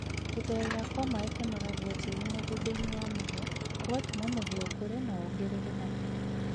Gutherera kwa maaĩ ũnoragia tĩĩri mũgũndainĩ wa mũhia ũgatũma mũhĩa ũkũre na wongerere magetha